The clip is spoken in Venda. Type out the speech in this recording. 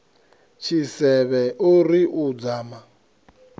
tshisevhe o ri u dzama